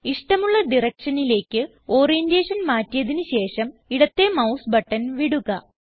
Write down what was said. ഇഷ്ടമുള്ള directionലേക്ക് ഓറിയന്റേഷൻ മാറ്റിയതിന് ശേഷം ഇടത്തേ മൌസ് ബട്ടൺ വിടുക